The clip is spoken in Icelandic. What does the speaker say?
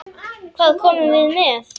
Hvað komum við með?